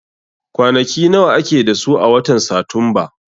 Kwanaki nawa ake da su a watan Satumba?